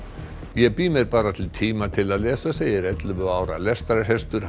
ég bý mér bara til tíma til að lesa segir ellefu ára lestrarhestur